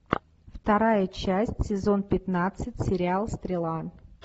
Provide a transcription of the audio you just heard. вторая часть сезон пятнадцать сериал стрела